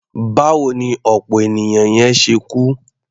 Báwo ni ọ̀pọ̀ ènìyàn yẹn ṣe kú?